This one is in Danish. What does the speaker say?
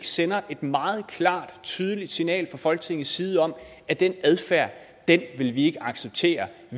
sender et meget klart tydeligt signal fra folketingets side om at den adfærd vil vi ikke acceptere